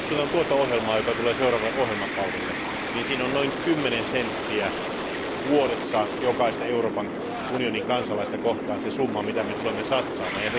Tuossa ohjelmassa, joka tulee seuraavalle ohjelmakaudelle, on noin kymmenen senttiä vuodessa jokaista Euroopan unionin kansalaista kohtaan se summa, mitä me tulemme satsaamaan.